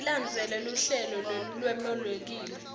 tilandzele luhlelo lolwemukelekile